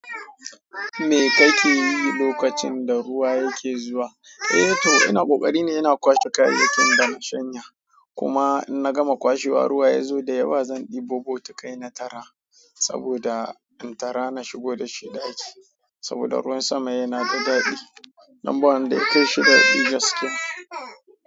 Me kake yi lokacin da ruwa yake zuwa? Eh to ina ƙoƙari ne ina kwashe kayayyakin da na shanya. Kuma in na gama kwashewa ruwa ya zo da yawa zan ɗebo botikai na tara saboda in tara na shigo da shi ɗaki. Saboda ruwan sama yana da daɗi. Dan ba wanda ya kaishi dadi gaskiya.